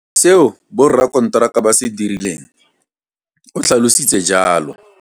Seo borakonteraka ba se dirileng, o tlhalositse jalo.